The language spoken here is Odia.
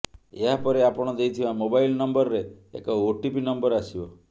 ଏହାପରେ ଆପଣ ଦେଇଥିବା ମୋବାଇଲ୍ ନମ୍ବର୍ରେ ଏକ ଓଟିପି ନମ୍ବର୍ ଆସିବ